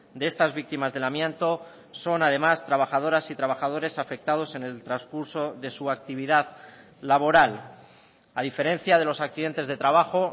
de estas víctimas del amianto son además trabajadoras y trabajadores afectados en el transcurso de su actividad laboral a diferencia de los accidentes de trabajo